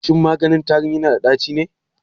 Shin maganin tarin yana da ɗaci ne?